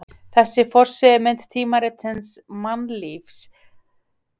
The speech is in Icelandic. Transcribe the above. Þessi forsíðumynd tímaritsins Mannlífs var vinsælt umræðuefni fólks á Íslandi.